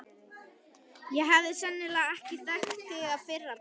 Ég hefði sennilega ekki þekkt þig að fyrra bragði.